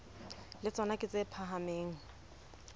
le tsona ke tse phahameng